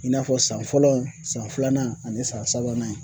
I n'a fɔ san fɔlɔ san filanan ani san sabanan